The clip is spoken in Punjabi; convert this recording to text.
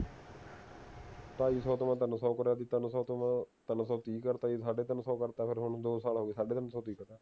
ਢਾਈ ਸੋ ਤੋਂ ਪਹਿਲਾਂ ਤਿੰਨ ਸੋ ਕਰੀਆ ਸੀ ਤਿੰਨ ਸੋ ਤੋਂ ਤਿੰਨ ਸੋ ਤੀਹ ਕਰਤਾ ਸੀ ਸਾਢੇ ਤਿੰਨ ਸੋ ਕਰਤਾ ਹੁਣ ਦੋ ਸਾਲ ਹੋ ਗਏ ਸਾਢੇ ਤਿੰਨ ਸੋ